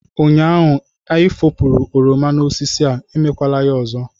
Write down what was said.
Ụnyaahụ ị efopuru oroma n'osisi a, emekwala ya ọzọ!